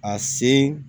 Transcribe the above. A sen